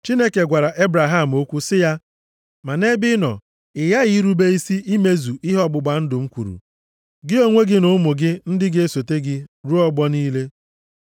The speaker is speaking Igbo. Chineke gwara Ebraham okwu sị ya, “Ma nʼebe ị nọ, ị ghaghị irube isi imezu ihe ọgbụgba ndụ m kwuru, gị onwe gị na ụmụ ụmụ gị ndị ga-esote gị, ruo ọgbọ niile.